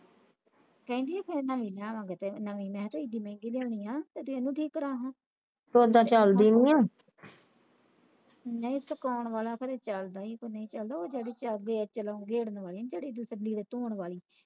ਕਹਿੰਦੀ ਫਿਰ ਮਹੀਨਾ ਮੰਗਦਾ ਤੇ ਮੈਂ ਤਾ ਐਨੀ ਮਹਿੰਗੀ ਲੈਣੀ ਆ ਤੇ ਇਹਨਾਂ ਦੀ ਕਿ ਕਰਾਹਾ ਨੇਤ ਕੌਣ ਵਾਲਾ ਫਿਰ ਚੱਲਦਾ ਕੇ ਨਹੀਂ ਚੱਲਦਾ ਤੇ ਜਿਹੜੇ ਚਲਦੇ ਚਲਾਉਂਦੇ ਆਹੀ ਤੇ ਲੀੜੇ ਧੋਣ ਵਾਲੀ